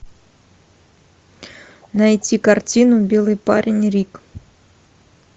найти картину белый парень рик